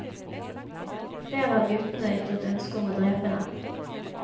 Flere av guttene ytret ønske om å drepe den.